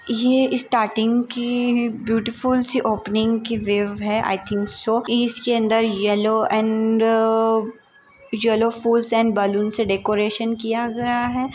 यह स्टार्टिंग की बिउटीफूल सी ओपेनिंग की वीव है आईथिंग सो इसके अंदर येल्लो अँड येल्लो फूल्स अँड बैलून्स से डेकोरेशन किया गया है।